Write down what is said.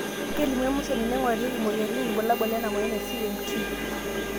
kelimu emashini naingurarieki imoyiaritin irbulabol lena moyian e CMT